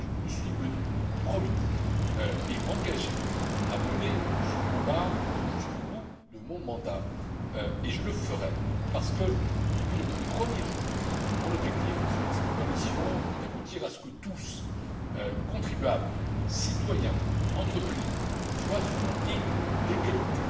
Je me suis engagé à mener ce combat jusqu'au bout de mon mandat et je le ferai, parce que depuis le premier jour, mon objectif et celui de cette Commission est d'aboutir à ce que tous les contribuables, citoyens et entreprises, soient sur un pied d'égalité,